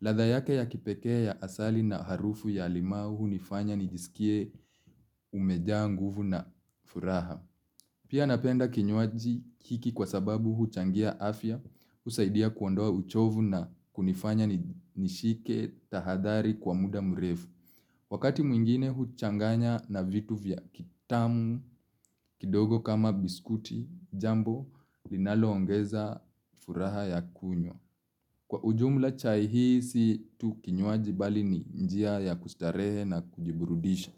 Ladha yake ya kipekee ya asali na harufu ya limau hunifanya nijisikie umejaa nguvu na furaha. Pia napenda kinywaji hiki kwa sababu huchangia afya, husaidia kuondoa uchovu na kunifanya nishike tahadhari kwa muda mrefu. Wakati mwingine huchanganya na vitu vya kitamu, kidogo kama biskuti, jambo linaloongeza furaha ya kunywa. Kwa ujumla chai hii si tu kinywaji bali ni njia ya kustarehe na kujiburudisha.